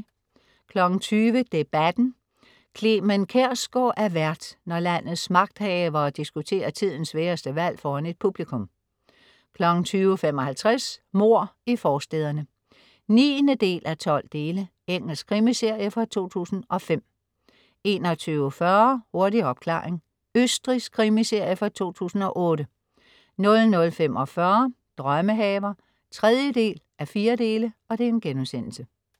20.00 Debatten. Clement Kjersgaard er vært, når landets magthavere diskuterer tidens sværeste valg foran et publikum 20.55 Mord i forstæderne 9:12. Engelsk krimiserie fra 2005 21.40 Hurtig opklaring. Østrigsk krimiserie fra 2008 00.45 Drømmehaver 3:4*